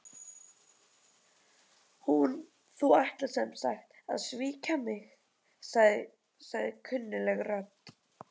Þú ætlar sem sagt að svíkja mig- sagði kunnugleg rödd.